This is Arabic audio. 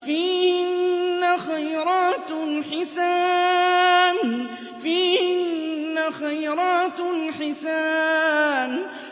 فِيهِنَّ خَيْرَاتٌ حِسَانٌ